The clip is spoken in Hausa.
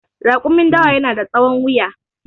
Rakumin dawa yana da tsahon wuya